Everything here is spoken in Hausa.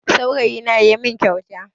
Saurayina ya min kyauta